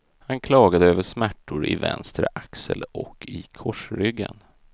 Han klagade över smärtor i vänster axel och i korsryggen.